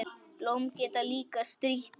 Blóm geta líka strítt.